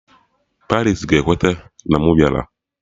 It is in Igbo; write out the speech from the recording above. Paris ga-ekweta na mụ bịara!